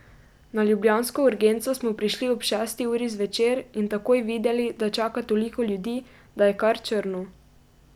Na ljubljansko urgenco smo prišli ob šesti uri zvečer in takoj videli, da čaka toliko ljudi, da je kar črno.